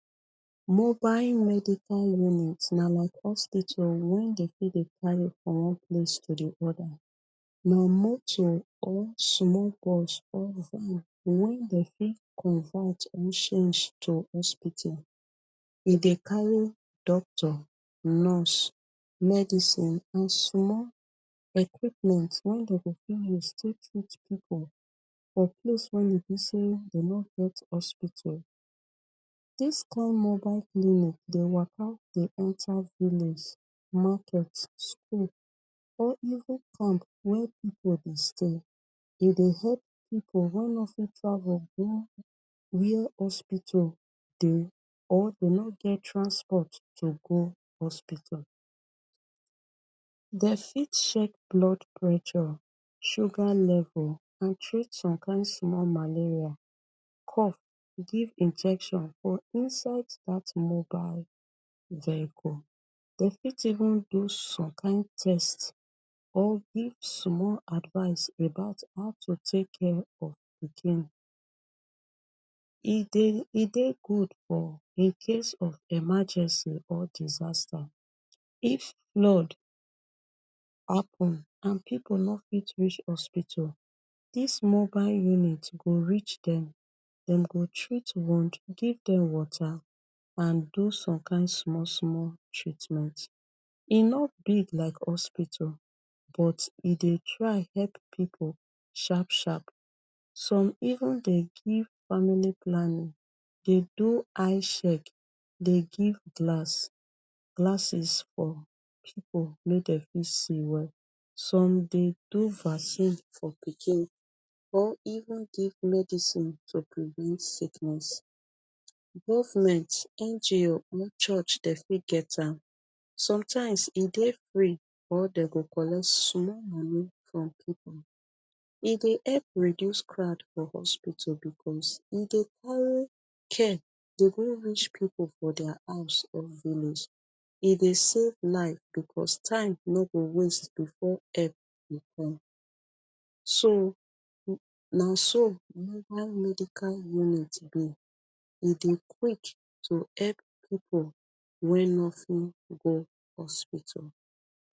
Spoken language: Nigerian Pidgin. Mobile medical unit na like hospital wen dem fit dey carry from one place to di oda. Na moto or sumol bus or van wen dem fit convert or shange to hospital. E dey carry doctor, nurse, medicine and sumol equipment wen dem dey fit use treat reach pipu for place wen dey be say dey no get hospital. This kain mobile clinic dey waka dey enter village, market, school, or even camp wey pipu dey stay. E dey hep pipu wey no fit travel go where hospital dey or dem no get transport to go hospital. Dey fit check blood pressure, sugar level and treat some kain sumol malaria, cough, give injection for inside dat mobile vehicle. Dem fit even do some kain test or give sumol advice about how to take of pikin. E dey e dey good for in case of emergency or disaster. If flood happun and pipu no fit reach hospital, dis mobile unit go reach dem, dem go treat wound, give dem water, and do some kain sumol sumol treatment. E no big like hospital, but e dey try hep pipu sharp sharp. Some even dey give family planning, dey do eye shek, dey give glass glasses for pipu mek dem fit see well. Some dey do vasine for pikin, or even give medicine to prevent sickness. Govment, NGO or church dem fit get am, sometimes e dey free or dey go collect sumol money from pipu. E dey hep reduce crowd for hospital bekos e dey carry care dey go reach pipu for dia house or village. E dey save life bekos time no go waste before epp go come. So na so mobile medical unit be. E dey quick to epp pipu wey no fit go hospital.